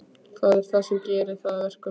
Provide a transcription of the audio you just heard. Hvað er það sem gerir það að verkum?